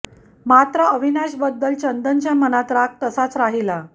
मात्र अविनाश बद्दल चंदनच्या मनात राग तसाच राहिला